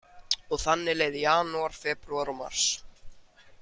Og þannig leið janúar, febrúar og mars.